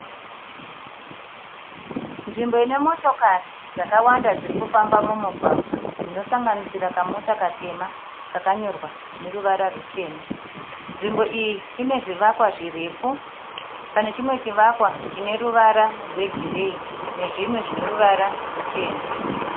Nzvimbo ine motokari dzakawanda dziri kufamba mumugwagwa dzinosanganisira kamota katema kakanyorwa neruvara rutema. Nzvimbo iyi ine zvivakwa zvirefu. Pane chimwe chivakwa chine ruvara rwegireyi nezvimwe zvine ruvara ruchena.